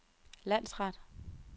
landsret